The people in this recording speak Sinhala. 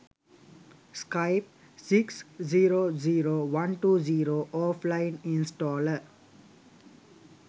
skype 6 0 0 120 offline installer